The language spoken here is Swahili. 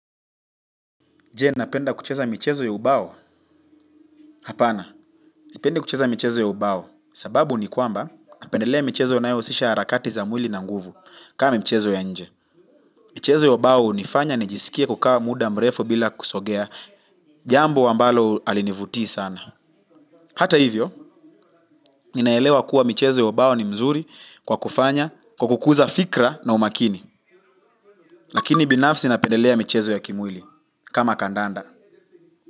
Je, napenda kucheza michezo ya ubao? Hapana. Sipendi kucheza michezo ya ubao. Sababu ni kwamba napendelea michezo inayohusisha harakati za mwili na nguvu kama michezo ya nje. Michezo ya ubao hunifanya nijisikie kukaa muda mrefu bila kusogea. Jambo ambalo alinivutii sana. Hata hivyo, ninaelewa kuwa michezo ya ubao ni mzuri kwa kufanya kwa kukuza fikra na umakini. Lakini binafsi napendelea michezo ya kimwili kama kandanda.